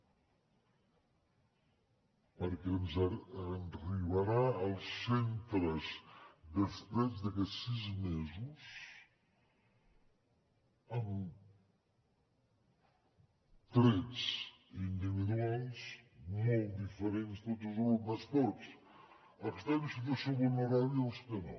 perquè ens arribaran als centres després d’aquests sis mesos amb trets individuals molt diferents tots els alumnes tots els que estan en situació vulnerable i els que no